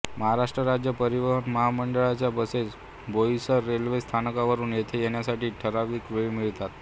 महाराष्ट्र राज्य परिवहन महामंडळाच्या बसेस बोईसर रेल्वे स्थानकावरून येथे येण्यासाठी ठरावीक वेळी मिळतात